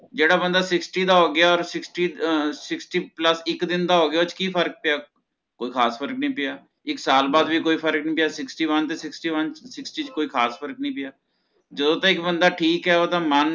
ਜਿਹੜਾ ਬੰਦਾ sixty ਦਾ ਹੋ ਗਿਆ ਓਰ sixty ਅਹ sixty plus ਇੱਕ ਦਿਨ ਦਾ ਹੋ ਗਿਆ ਓਹਦੇ ਚ ਕੀ ਫਰਕ ਪਿਆ ਕੋਈ ਖ਼ਾਸ ਫਰਕ ਨੀ ਪਿਆ ਇਕ ਸਾਲ ਬਾਦ ਵੀ ਕੋਈ ਫਰਕ ਨਹੀਂ ਪਿਆ sixty one ਤੇ sixty one ਤੇ sixty ਚ ਕੋਈ ਖ਼ਾਸ ਫਰਕ ਨੀ ਪਿਆ ਜਦੋਂ ਤੱਕ ਇੱਕ ਬੰਦਾ ਠੀਕ ਹੈ ਓਹਦਾ ਮਨ